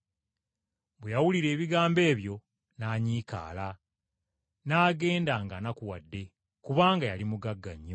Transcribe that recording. Bwe yawulira ebigambo ebyo n’anyiikaala, n’agenda ng’anakuwadde, kubanga yali mugagga nnyo.